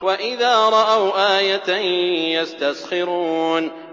وَإِذَا رَأَوْا آيَةً يَسْتَسْخِرُونَ